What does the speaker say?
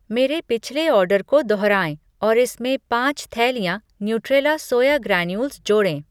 मेरे पिछले आर्डर को दोहराएँ और इसमें पाँच थैलियाँ न्यूट्रेला सोया ग्रैन्यूल्स जोड़ें।